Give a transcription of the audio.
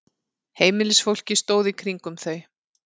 Heimilisfólkið stóð í kringum þau.